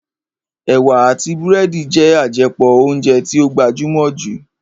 Ẹ̀wà àti búrẹ́dì jẹ́ àjẹpọ̀ óúnjẹ tí ó gbajúmọ̀ jù